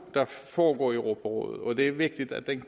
der foregår i europarådet og det er vigtigt at den